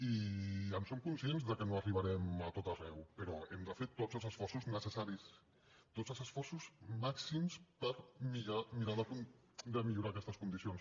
i en som conscients que no arribarem a tot arreu però hem de fer tots els esforços necessaris tots els esforços màxims per mirar de millorar aquestes condicions